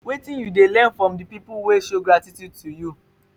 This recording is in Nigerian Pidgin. wetin you dey learn from di people wey show gratitude to you?